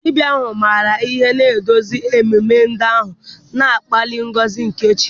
Dibia ahu, maara ihe, na-eduzi ememe ndị ahụ, na-akpali ngọzi nke chi.